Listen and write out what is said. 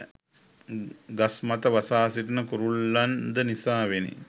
ගස්මත වසා සිටින කුරුල්ලන්ද නිසාවෙනි